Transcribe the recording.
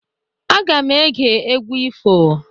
Aga m ege egwu ifo.